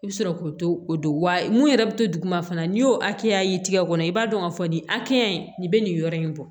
I bɛ sɔrɔ k'o to o don wa mun yɛrɛ bɛ to duguma fana n'i y'o hakɛya ye i tɛgɛ kɔnɔ i b'a dɔn k'a fɔ nin hakɛya in nin bɛ nin yɔrɔ in bɔ